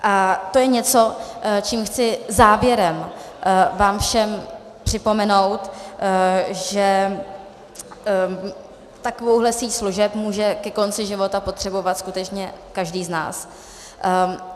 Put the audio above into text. A to je něco, čím chci závěrem vám všem připomenout, že takovouhle síť služeb může ke konci života potřebovat skutečně každý z nás.